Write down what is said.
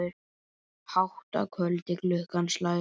Hátt að kvöldi klukkan slær.